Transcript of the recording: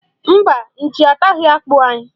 Mba, nchi ataghị akpụ anyị.